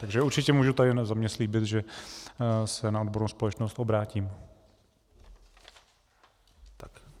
Takže určitě můžu tady za sebe slíbit, že se na odbornou společnost obrátím.